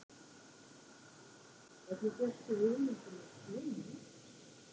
Hvernig fékkstu hugmyndina af svona innkasti?